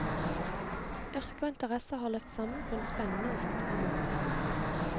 Yrke og interesser har løpt sammen på en spennende og fruktbar måte.